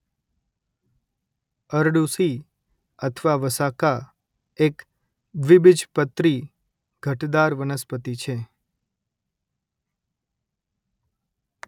અરડૂસી અથવા વસાકા એક દ્વિબીજપત્રી ઘટદાર વનસ્પતિ છે